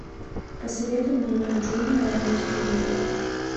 посоветуй мне ник джуниор на телевизоре